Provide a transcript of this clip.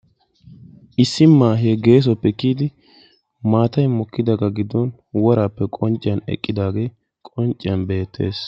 issi maahe geessuwappe kiyyidi maatay mokkidaaga giddon worappe qoncciya eqqidaagee qoncciyaan beettees.